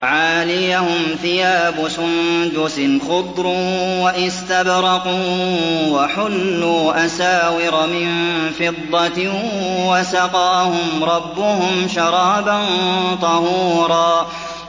عَالِيَهُمْ ثِيَابُ سُندُسٍ خُضْرٌ وَإِسْتَبْرَقٌ ۖ وَحُلُّوا أَسَاوِرَ مِن فِضَّةٍ وَسَقَاهُمْ رَبُّهُمْ شَرَابًا طَهُورًا